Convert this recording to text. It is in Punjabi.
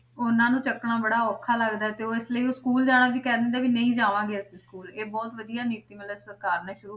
ਉਹਨਾਂ ਨੂੰ ਚੁੱਕਣਾ ਬੜਾ ਔਖਾ ਲੱਗਦਾ ਹੈ ਤੇ ਉਹ ਇਸ ਲਈ ਉਹ school ਜਾਣਾ ਵੀ ਕਹਿ ਦਿੰਦੇ ਆ ਵੀ ਨਹੀਂ ਜਾਵਾਂਗੇ ਅਸੀਂ school ਇਹ ਬਹੁਤ ਵਧੀਆ ਨੀਤੀ ਮਤਲਬ ਸਰਕਾਰ ਨੇ ਸ਼ੁਰੂ,